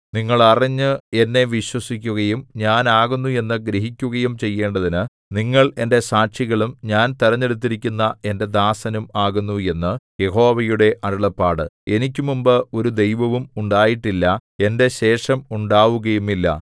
നിങ്ങൾ അറിഞ്ഞ് എന്നെ വിശ്വസിക്കുകയും ഞാൻ ആകുന്നു എന്നു ഗ്രഹിക്കുകയും ചെയ്യേണ്ടതിന് നിങ്ങൾ എന്റെ സാക്ഷികളും ഞാൻ തിരഞ്ഞെടുത്തിരിക്കുന്ന എന്റെ ദാസനും ആകുന്നു എന്നു യഹോവയുടെ അരുളപ്പാട് എനിക്കുമുമ്പ് ഒരു ദൈവവും ഉണ്ടായിട്ടില്ല എന്റെ ശേഷം ഉണ്ടാവുകയുമില്ല